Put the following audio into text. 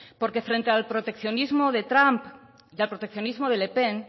porque frente al proteccionismo de trump y al proteccionismo de le pen